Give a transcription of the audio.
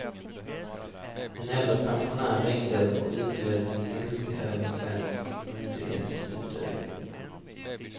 En äldre pensionär ringde och utgjöt sin ilska över svensk myndighetsutövning.